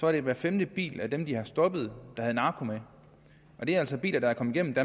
er hver femte bil af dem de har stoppet der havde narko med og det er altså biler der er kommet